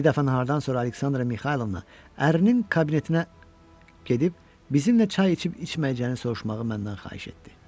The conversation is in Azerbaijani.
Bir dəfə nahardan sonra Aleksandra Mixaylovna ərinin kabinetinə gedib bizim ilə çay içib içməyəcəyini soruşmağı məndən xahiş etdi.